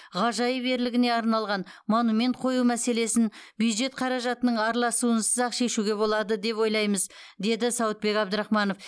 ғажайып ерлігіне арналған монумент қою мәселесін бюджет қаражатының араласуынсыз ақ шешуге болады деп ойлаймыз деді сауытбек әбдрахманов